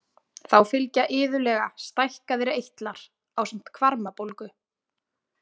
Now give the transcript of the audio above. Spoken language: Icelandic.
Þá fylgja iðulega stækkaðir eitlar ásamt hvarmabólgu.